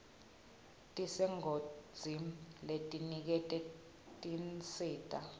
tesigodzi letiniketa tinsita